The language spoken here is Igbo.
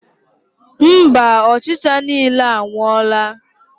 Mba, ọchịcha niile anwụọla.